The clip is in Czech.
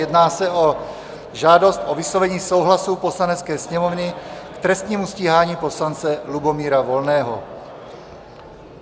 Jedná se o žádost o vyslovení souhlasu Poslanecké sněmovny k trestnímu stíhání poslance Lubomíra Volného.